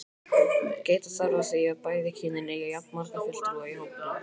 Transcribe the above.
Gæta þarf að því að bæði kynin eigi jafnmarga fulltrúa í hópnum.